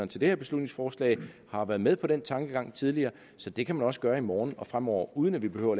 til det her beslutningsforslag har været med på den tankegang tidligere så det kan man også gøre i morgen og fremover uden at vi behøver